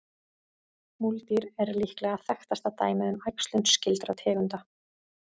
Múldýr er líklega þekktasta dæmið um æxlun skyldra tegunda.